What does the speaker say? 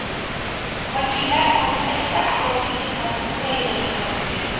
Vakillar palatasida asosiy diqqat Ukrainaga qaratilgan.